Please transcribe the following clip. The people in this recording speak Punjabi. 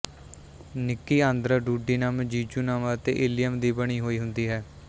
ਨਿੱਕੀ ਆਂਦਰ ਡੂਡੀਨਮ ਜੀਜੂਨਮ ਅਤੇ ਇਲੀਅਮ ਦੀ ਬਣੀ ਹੋਈ ਹੁੰਦੀ ਹੈ